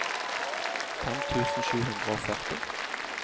fem tusen sju hundre og førti